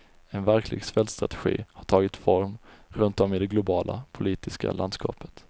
En verklig svältstrategi har tagit form runtom i det globala politiska landskapet.